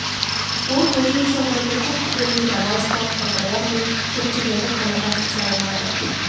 ол бөлшек сандарды куб түбірін грамматикалық талдаулар мен жіктеулерді қанағат ете алмады